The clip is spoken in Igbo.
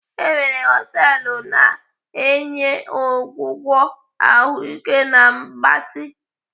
E nwere họtelu na-enye ọgwụgwọ ahụike na mgbatị.